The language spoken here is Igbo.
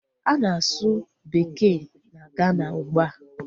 A na-asu bekee na Gana ugbua